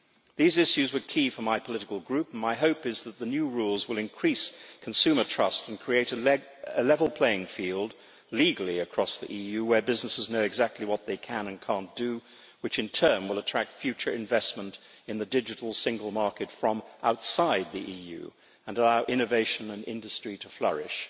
These issues were key for my political group, and my hope is that the new rules will increase consumer trust and create a level playing field, legally across the EU, where businesses know exactly what they can and cannot do, which in turn will attract future investment in the digital single market from outside the EU and allow innovation and industry to flourish.